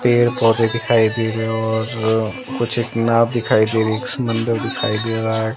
पेड़ पौधे दिखाई दे रहे हैं और कुछ एक नाव दिखाई दे रही एक समुद्र दिखाई दे रहा है।